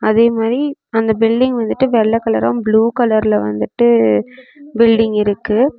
அதே மாதிரி அந்த பில்டிங் வந்துட்டு வெள்ள கலரும் புளூ கலர்ல வந்துட்டு பில்டிங் இருக்கு.